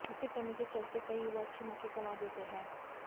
इसकी कमी के चलते कई युवा अच्छे मौके गंवा देते हैं